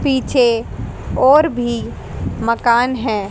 पीछे और भी मकान हैं।